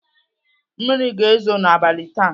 Mmiri ga-ezo n'abalị taa.